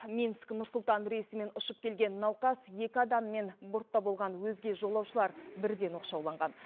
минск нұр сұлтан рейсімен ұшып келген науқас екі адаммен бортта болған өзге жолаушылар бірден оқшауланған